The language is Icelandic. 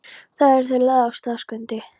Þá erum við lagðir af stað, Skundi.